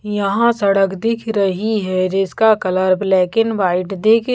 यहाँ सड़क दिख रही है जिसका कलर ब्लैक एंड व्हाईट दिख--